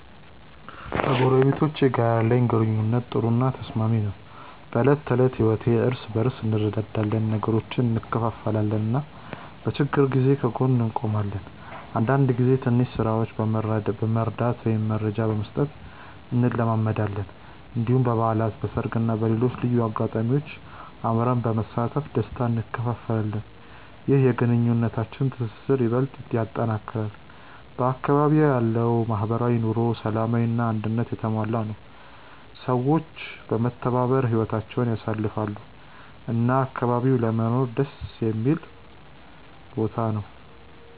ከጎረቤቶቼ ጋር ያለኝ ግንኙነት ጥሩ እና ተስማሚ ነው። በዕለት ተዕለት ህይወት እርስ በርስ እንረዳዳለን፣ ነገሮችን እንካፈላለን እና በችግር ጊዜ ከጎን እንቆማለን። አንዳንድ ጊዜ ትንሽ ስራዎችን መርዳት ወይም መረጃ መስጠት እንለማመዳለን። እንዲሁም በበዓላት፣ በሰርግ እና በሌሎች ልዩ አጋጣሚዎች አብረን በመሳተፍ ደስታ እንካፈላለን። ይህ የግንኙነታችንን ትስስር ይበልጥ ያጠናክራል። በአካባቢዬ ያለው ማህበራዊ ኑሮ ሰላማዊ እና አንድነት የተሞላ ነው፤ ሰዎች በመተባበር ህይወታቸውን ያሳልፋሉ እና አካባቢው ለመኖር ደስ የሚል ቦታ ነው።